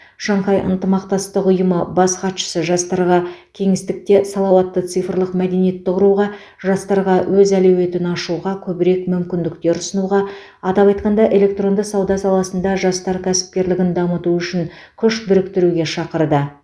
шанхай ынтымақтастық ұйымы бас хатшысы жастарға кеңістіктее салауатты цифрлық мәдениетті құруға жастарға өз әлеуетін ашуға көбірек мүмкіндіктер ұсынуға атап айтқанда электронды сауда саласында жастар кәсіпкерлігін дамыту үшін күш біріктіруге шақырды